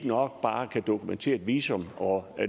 nok bare at kunne dokumentere et visum og